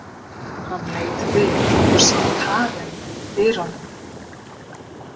Hann leit við og sá Karen í dyrunum.